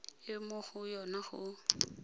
e mo go yona go